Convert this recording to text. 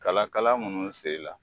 Kalakala munnu sela